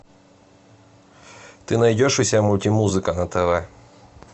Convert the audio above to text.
ты найдешь у себя мультимузыка на тв